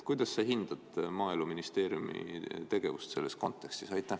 Kuidas sa hindad Maaeluministeeriumi tegevust selles kontekstis?